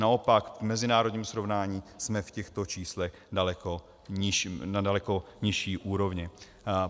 Naopak, v mezinárodním srovnání jsme v těchto číslech na daleko nižší úrovni.